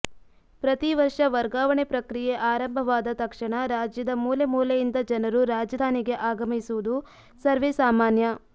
ಪ್ರತಿ ವರ್ಷ ವರ್ಗಾವಣೆ ಪ್ರಕ್ರಿಯೆ ಆರಂಭವಾದ ತಕ್ಷಣ ರಾಜ್ಯದ ಮೂಲೆ ಮೂಲೆಯಿಂದ ಜನರು ರಾಜಧಾನಿಗೆ ಆಗಮಿಸುವುದು ಸರ್ವೇ ಸಾಮಾನ್ಯ